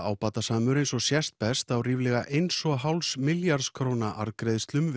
ábatasamur eins og sést best á ríflega eins og hálfs milljarðs króna arðgreiðslum